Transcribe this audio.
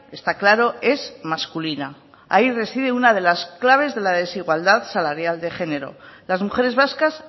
está claro es masculina ahí reside una de las claves de la desigualdad salarial de género las mujeres vascas